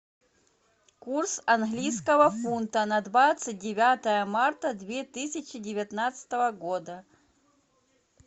курс английского фунта на двадцать девятое марта две тысячи девятнадцатого года